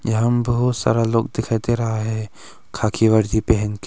यहां बहुत सारा लोग दिखाई दे रहा है खाकी वर्दी पहनकर।